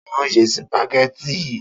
Ta ni ó se sìpàgé̩tì yìí?